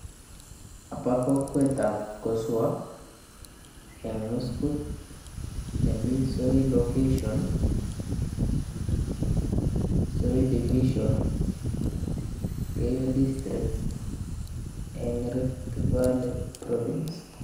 Abo kokwetab koswo nemii muskut nemii soi location soi division keiyo district eng Rift valley province.